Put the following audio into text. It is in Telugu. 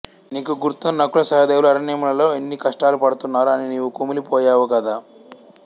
నీకు గుర్తుందా నకులసహదేవులు అరణ్యములలో ఎన్ని కష్టాలు పడుతున్నారో అని నీవు కుమిలి పోయావు కదా